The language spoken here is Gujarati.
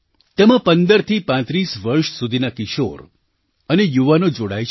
તેમાં 15થી 35 વર્ષ સુધીનાં કિશોર અને યુવાનો જોડાય છે